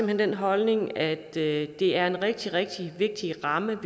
hen den holdning at det er en rigtig rigtig vigtig ramme